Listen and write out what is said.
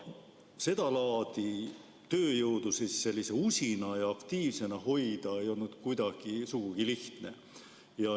Seda laadi tööjõudu usina ja aktiivsena hoida ei olnud sugugi lihtne.